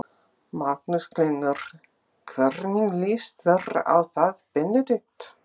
Magnús Hlynur: hvernig líst þér á það Benedikt?